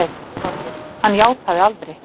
ÞORVALDUR: Hann játaði aldrei.